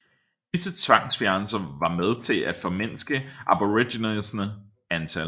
Disse tvangsfjernelser var med til at formindske aboriginernes antal